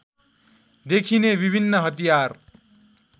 देखिने विभिन्न हतियार